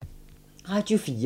Radio 4